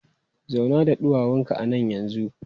Zauna da ɗuwawunka a nan yanzu!